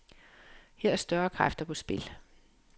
Her er større kræfter på spil.